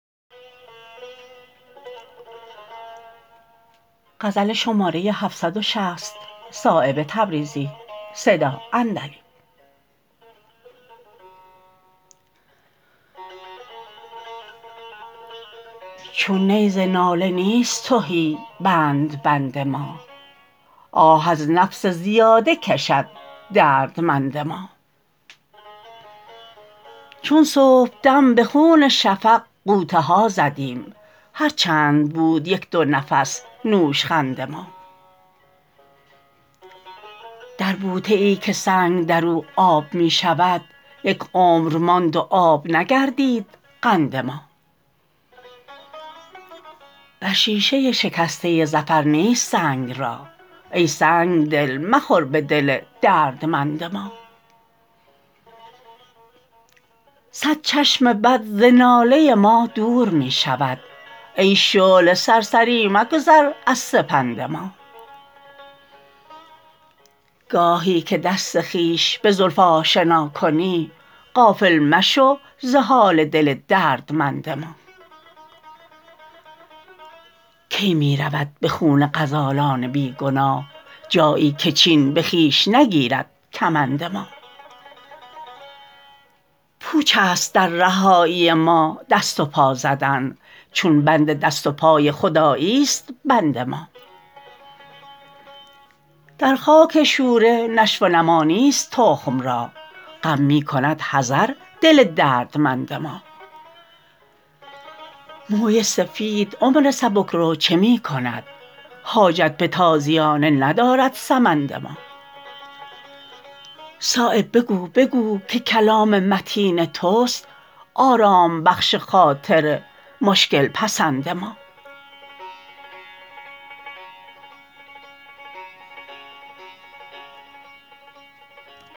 چون نی ز ناله نیست تهی بندبند ما آه ار نفس زیاده کشد دردمند ما چون صبحدم به خون شفق غوطه ها زدیم هر چند بود یک دو نفس نوشخند ما در بوته ای که سنگ در او آب می شود یک عمر ماند و آب نگردید قند ما بر شیشه شکسته ظفر نیست سنگ را ای سنگ دل مخور به دل دردمند ما صد چشم بد ز ناله ما دور می شود ای شعله سرسری مگذر از سپند ما گاهی که دست خویش به زلف آشنا کنی غافل مشو ز حال دل دردمند ما کی می رود به خون غزالان بیگناه جایی که چین به خویش نگیرد کمند ما پوچ است در رهایی ما دست و پا زدن چون بند دست و پای خدایی است بند ما در خاک شوره نشو و نما نیست تخم را غم می کند حذر دل دردمند ما موی سفید عمر سبکرو چه می کند حاجت به تازیانه ندارد سمند ما صایب بگو بگو که کلام متین توست آرام بخش خاطر مشکل پسند ما